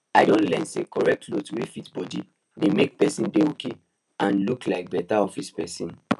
i don learn say correct clothes wey fit bodi dey make person dey okay and and look like better office person